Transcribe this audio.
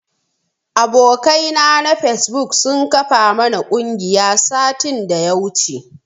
Abokai na na fesbuk sun kafa mana ƙungiya satin daya wuce.